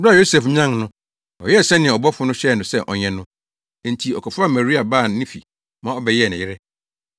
Bere a Yosef nyan no, ɔyɛɛ sɛnea ɔbɔfo no hyɛɛ no sɛ ɔnyɛ no. Enti ɔkɔfaa Maria baa ne fi ma ɔbɛyɛɛ ne yere.